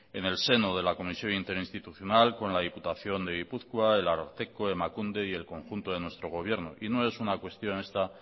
en el seno de la comisión interinstitucional con la diputación de gipuzkoa el ararteko emakunde y el conjunto de nuestro gobierno y no es una cuestión esta